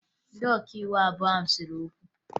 Ndị ọkaiwu abụọ ahụ sere okwu